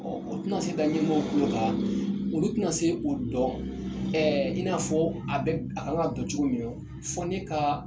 Ɔ u tɛna se da ɲɛmɔgɔw kulo kan olu tɛna se o dɔn ɛɛ in'a fɔ a bɛ a kan ka don cogo min nɔ fɔ ne kaa